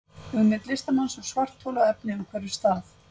Hugmynd listamanns um svarthol og efni umhverfis það.